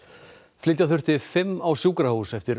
flytja þurfti fimm á sjúkrahús eftir